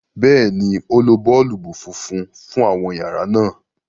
béèni, o ló boolubu fúnfún fún àwọn yàrá náa.